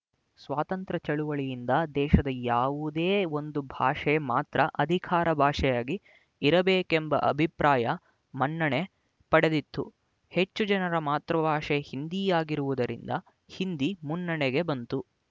ಸ್ವಾತಂತ್ರ್ಯ ಚಳುವಳಿಯಿಂದ ದೇಶದ ಯಾವುದೇ ಒಂದು ಭಾಷೆ ಮಾತ್ರ ಅಧಿಕಾರ ಭಾಷೆಯಾಗಿ ಇರಬೇಕೆಂಬ ಅಭಿಪ್ರಾಯ ಮನ್ನಣೆ ಪಡೆದಿತ್ತು ಹೆಚ್ಚು ಜನರ ಮಾತೃಭಾಷೆ ಹಿಂದಿ ಆಗಿರುವುದರಿಂದ ಹಿಂದಿ ಮುನ್ನೆಡೆಗೆ ಬಂತು